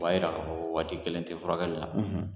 O b'a jira k'a fɔ ko waati kelen tɛ furakɛli la